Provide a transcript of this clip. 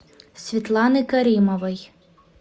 светланы каримовой